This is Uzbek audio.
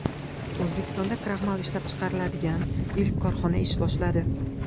O‘zbekistonda kraxmal ishlab chiqariladigan ilk korxona ish boshladi.